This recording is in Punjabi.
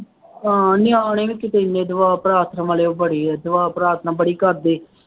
ਹਾਂ ਨਿਆਣੇ ਵੀ ਕਿਤੇ ਐਨੇ ਦੁਆ ਪ੍ਰਾਰਥਨਾ ਵਾਲੇ ਬੜੇ ਆ, ਦੁਆ ਪ੍ਰਾਰਥਨਾ ਬੜੀ ਕਰਦੇ,